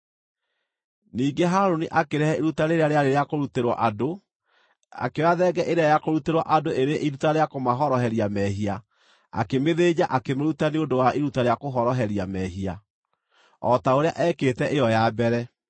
Ningĩ Harũni akĩrehe iruta rĩrĩa rĩarĩ rĩa kũrutĩrwo andũ. Akĩoya thenge ĩrĩa ya kũrutĩrwo andũ ĩrĩ iruta rĩa kũmahoroheria mehia akĩmĩthĩnja akĩmĩruta nĩ ũndũ wa iruta rĩa kũhoroheria mehia, o ta ũrĩa ekĩte ĩyo ya mbere.